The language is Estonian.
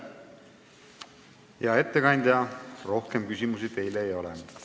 Hea ettekandja, rohkem küsimusi teile ei ole.